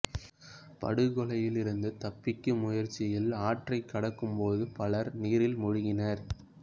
படுகொலையில் இருந்து தப்பிக்கும் முயற்சியில் ஆற்றைக் கடக்கும் போது பலர் நீரில் மூழ்கினர்